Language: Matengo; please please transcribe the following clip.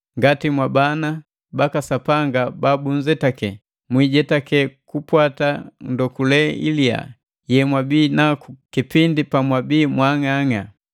Ngati mwabana baka Sapanga babunzetake, mwiijetake kupwata ndokule iliya yemwabii naku kipindi pamwabii mwaang'ang'a.